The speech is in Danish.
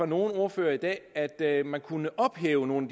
nogle ordførere i dag at man kunne ophæve nogle